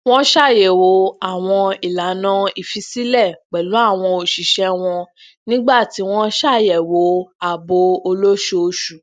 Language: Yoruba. wón ṣatunyẹwo awọn ilana ifilesilẹ pèlú àwọn òṣìṣẹ wọn nígbà tí wọn ń ṣàyẹwò aabo olóṣooṣù